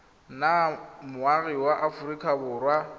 nna moagi wa aforika borwa